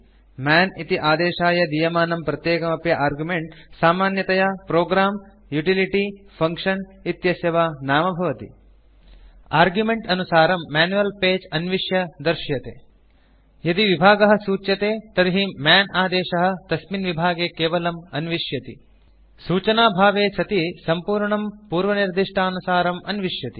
मन् इति आदेशाय दीयमानं प्रत्येकम् अपि आर्गुमेन्ट् सामान्यतया प्रोग्रं युटिलिटी फंक्शन इत्यस्य वा नाम भवति आर्गुमेन्ट् अनुसारं मैन्युअल् पगे अन्विष्य दर्श्यते यदि विभागः सूच्यते तर्हि मन् आदेशः तस्मिन् विभागे केवलम् अन्विष्यति सूचनाभावे सति सम्पूर्णं पूर्वनिर्दिष्टानुसारम् अन्विष्यति